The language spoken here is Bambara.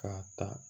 K'a ta